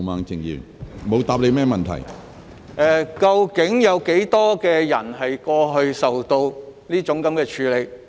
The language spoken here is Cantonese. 教育局究竟有多少人過去曾受到這樣處罰？